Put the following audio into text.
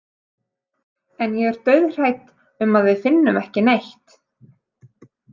En ég er dauðhrædd um að við finnum ekki neitt.